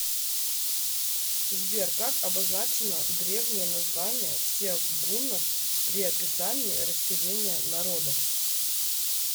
сбер как обозначено древнее название всех гуннов при описании расселения народов